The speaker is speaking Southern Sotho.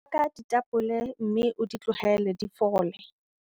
Baka ditapole mme o di tlohele di fole.